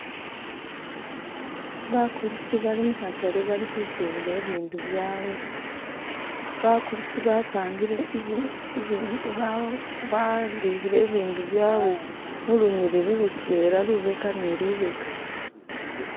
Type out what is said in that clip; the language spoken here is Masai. bakulisi bali muhatale bali husubula ibindu byawe bakulisi bapangile balihile ibindu byawe mulunyilili lutwela lubeka ni lubeka